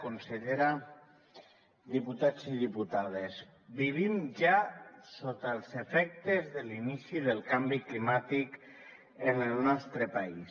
consellera diputats i diputades vivim ja sota els efectes de l’inici del canvi climàtic en el nostre país